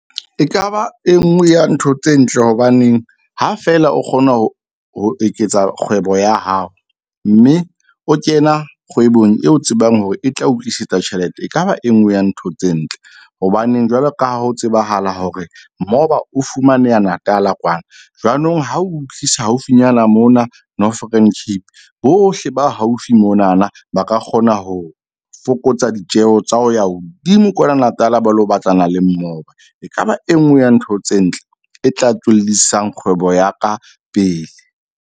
Ekaba e nngwe ya ntho tse ntle, hobaneng ha fela o kgona ho eketsa kgwebo ya hao. Mme o kena kgwebong e o tsebang hore e tla o tlisetsa tjhelete ekaba e nngwe ya ntho tse ntle. Hobaneng jwalo ka ha ho tsebahala hore moba o fumaneha Natala kwana jwanong ho o tlisa haufinyana mona Northern Cape, bohle ba haufi monana ba ka kgona ho fokotsa ditjeho tsa ho ya hodimo kwana Natala ba lo batlana le mmoba. Ekaba e nngwe ya ntho tse ntle, e tla tswellisang kgwebo ya ka pele.